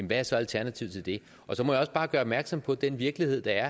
hvad er så alternativet til det og så må jeg også bare gøre opmærksom på den virkelighed der er